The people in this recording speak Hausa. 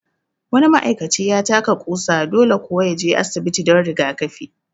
Wani ma'aikaci ya taka ƙusa, dole kuwa ya je asibiti don rigakafi